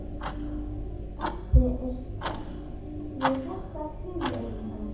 Eddu er skemmt við þessar hugleiðingar.